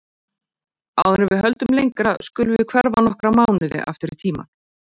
Áður en við höldum lengra skulum við hverfa nokkra mánuði aftur í tímann.